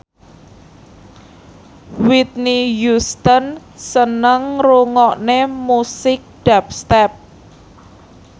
Whitney Houston seneng ngrungokne musik dubstep